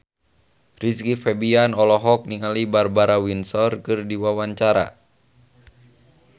Rizky Febian olohok ningali Barbara Windsor keur diwawancara